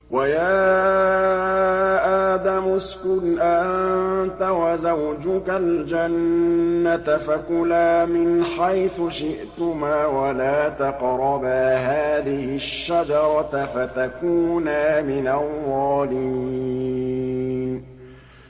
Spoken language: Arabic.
وَيَا آدَمُ اسْكُنْ أَنتَ وَزَوْجُكَ الْجَنَّةَ فَكُلَا مِنْ حَيْثُ شِئْتُمَا وَلَا تَقْرَبَا هَٰذِهِ الشَّجَرَةَ فَتَكُونَا مِنَ الظَّالِمِينَ